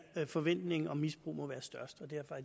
der forventningen om misbrug må være størst